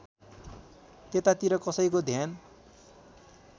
त्यतातिर कसैको ध्यान